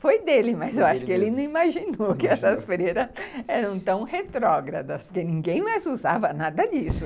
Foi dele, mas eu acho que ele não imaginou que essas freiras eram tão retrógradas, porque ninguém mais usava nada disso.